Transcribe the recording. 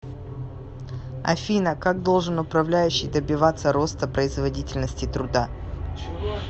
афина как должен управляющий добиваться роста производительности труда